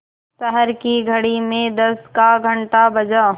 शहर की घड़ी में दस का घण्टा बजा